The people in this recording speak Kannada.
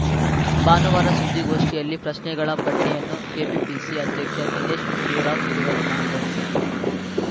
ಭಾನುವಾರ ಸುದ್ದಿಗೋಷ್ಠಿಯಲ್ಲಿ ಪ್ರಶ್ನೆಗಳ ಪಟ್ಟಿಯನ್ನು ಕೆಪಿಪಿಸಿಅಧ್ಯಕ್ಷ ದಿನೇಶ್‌ ಗುಂಡೂರಾವ್‌ ಬಿಡುಗಡೆ ಮಾಡಿದರು